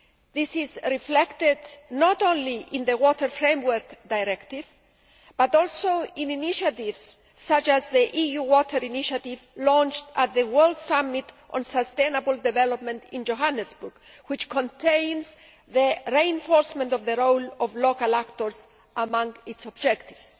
This is reflected not only in the Water Framework Directive but also in initiatives such as the EU Water Initiative launched at the World Summit on Sustainable Development in Johannesburg, which contains the reinforcement of the role of local actors among its objectives.